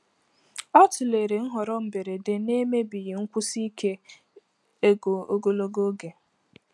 Ọ tụlere nhọrọ mberede na-emebighị nkwụsi ike ego ogologo oge.